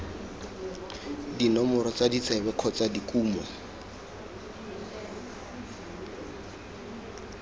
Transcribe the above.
dinomoro tsa ditsebe kgotsa dikumo